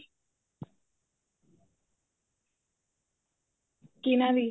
ਕਿਹਨਾ ਦੀ